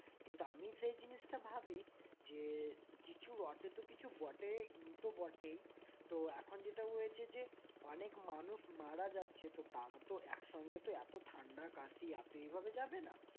কিন্তু আমি সেই জিনিসটা ভাবি যে কিছু রটে তো কিছু বটে কিন্তু বটে তো এখন যেটা হয়েছে যে অনেক মানুষ মারা যাচ্ছে তো তারা তো একসঙ্গে তো এত ঠান্ডা কাশি এত এভাবে যাবে না